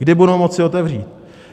Kdy budou moci otevřít?